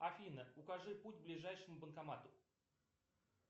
афина укажи путь к ближайшему банкомату